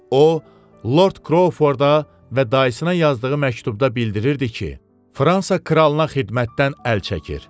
O, Lord Krouforda və dayısına yazdığı məktubda bildirirdi ki, Fransa kralına xidmətdən əl çəkir.